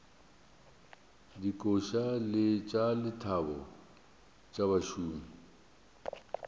dikoša tša lethabo tša bašomi